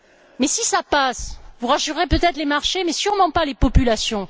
Mais si cela passe, vous rassurez peut être les marchés, mais sûrement pas les populations.